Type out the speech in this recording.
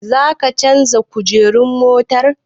Za ka canja kujerun motar?